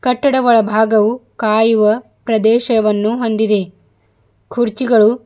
ಕಟ್ಟಡ ಒಳಭಾಗವು ಕಾಯುವ ಪ್ರದೇಶವನ್ನು ಹೊಂದಿದೆ ಕುರ್ಚಿಗಳು--